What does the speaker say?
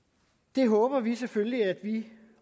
det håber vi selvfølgelig at vi